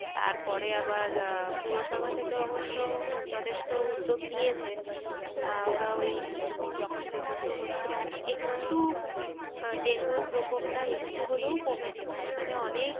তারপরে আবার আহ পৌরসভা থেকে অবশ্য যথেষ্ট উদ্যোগ নিয়েছে আহ ওরা ওই উম যখন প্রচন্ড হচ্ছিলো এখন একটু আহ ডেঙ্গুর প্রকোপটা একটু হলেও কমেছে মাঝ খানে অনেক,